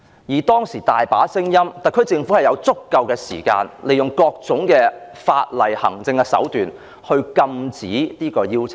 其實，特區政府本有足夠時間，利用各種法例及行政手段，禁止這項邀請。